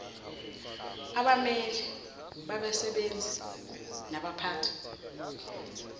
abameli babasebenzi nabaphathi